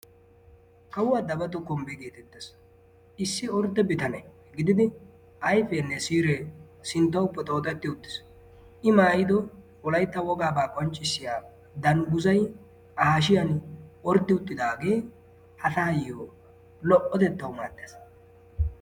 Kawua dagatu kumbba geetettes. Issi ordde bitane gididi ayfeenne siiree sittawu poxooxetti uttis. I maayido wolaytta wogaaba qonccissiya dangguzayi a hashiyan orddi uttidaage ha taayyo lo"otettawu maaddes.